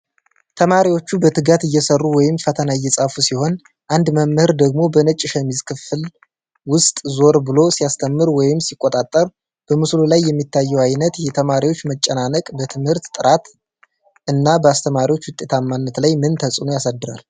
ተማሪዎቹ በትጋት እየሠሩ ወይም ፈተና እየጻፉ ሲሆን፣ አንድ መምህር ደግሞ በነጭ ሸሚዝ ክፍል ውስጥ ዞር ብሎ ሲያስተምር ወይም ሲቆጣጠር ።በምስሉ ላይ የሚታየው ዓይነት የተማሪዎች መጨናነቅ በትምህርት ጥራት እና በአስተማሪዎች ውጤታማነት ላይ ምን ተጽዕኖ ያሳድራል?